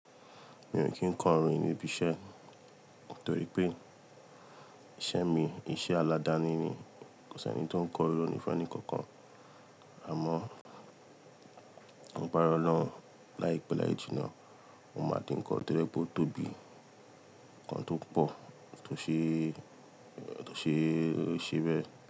Mi ò kí ń kọ orin níbi iṣẹ́ nítorí pé iṣẹ́ mi iṣẹ́ aládani ni. Kò sí ẹni tó ń ko orin ní fun enìkan kan. Àmọ́ lagbara Olorun láìpé láì jìnnà, o máa dí nkan to je pé ó tóbi, nkan tó pọ̀, tó ṣe, tó ṣe e ṣẹ́bẹ̀